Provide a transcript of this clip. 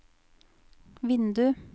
vindu